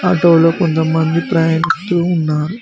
Auto లో కొంతమంది ప్రయాణిస్తూ ఉన్నారు.